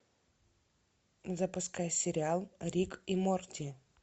запускай сериал рик и морти